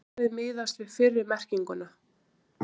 Svarið miðast við fyrri merkinguna.